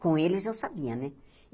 Com eles eu sabia, né?